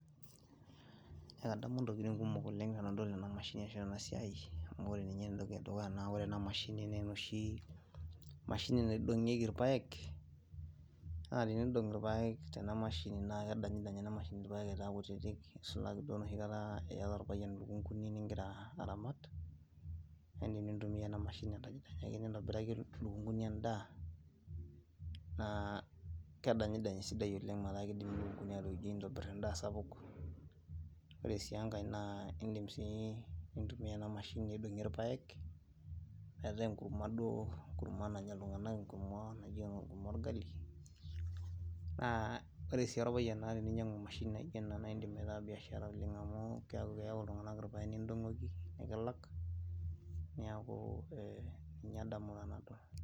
ekadamu intokitin kumok oleng tenadol kuna mashinini. amu ore ena siai, ninye entoki edukuya, amu ore ena mashini naa enoshi, mashini niadong'ieki irpaek, naa tenidong' irpaek tena mashini naa kedanyidany ena mashini irpaek aitaa kutiitik, nisulaki duo enoshi kata, iyata orpayian ilukunkuni nigira aramat, naa idim nintumia ena mashini nintobiraki ilukunkuni edaa, naa kedanyidany esidai oleng metaa kidim ilukunkuni atooijoi nitobir edaa sapuk. ore sii enkae, naa idim sii nintumia ena mashini aidong'ie irpaek, metaa enkurma duo. enkurma nanya iltunganak. enkurma naijo enkurma orgali, naa ore sii orpayian teninyiang'u emashini naijo ena. naa idim aitaa biashara oleng amu keyau iltungank irpaek nikilak. niaku ninye edamunoto nadol.